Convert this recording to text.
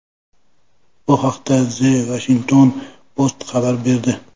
Bu haqda The Washington Post xabar berdi.